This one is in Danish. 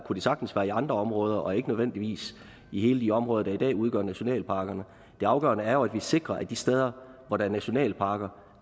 sagtens være i andre områder og ikke nødvendigvis i de områder der i dag udgør nationalparkerne det afgørende er jo at vi sikrer at de steder hvor der er nationalparker